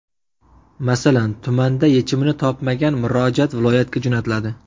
Masalan, tumanda yechimini topmagan murojaat viloyatga jo‘natiladi.